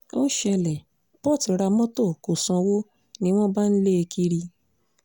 ó ṣẹlẹ̀ port ra mọ́tò kó sanwó ni wọ́n bá ń lé e kiri